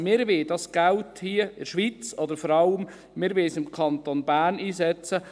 Wir wollen das Geld hier in der Schweiz, oder vor allem wollen wir es im Kanton Bern, einsetzen.